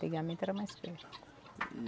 Antigamente era mais perto.